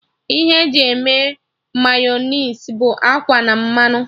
Ihe e ji eme Mayọnais bụ akwa na mmanụ